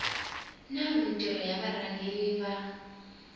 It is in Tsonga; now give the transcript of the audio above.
na mintirho ya varhangeri va